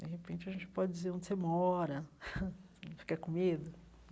De repente, a gente pode dizer onde você mora, fica com medo.